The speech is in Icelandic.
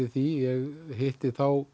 því ég hitti